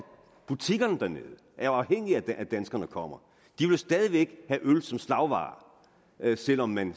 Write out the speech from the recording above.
butikkerne dernede jo er afhængige af at danskerne kommer de vil stadig væk have øl som slagvare selv om man